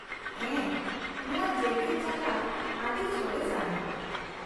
ᱦᱮᱸ , ᱱᱚᱶᱟ ᱡᱮᱜᱮᱫ ᱡᱟᱠᱟᱛ ᱟᱹᱰᱤ ᱥᱚᱨᱮᱥ ᱟᱱᱟᱜ ᱾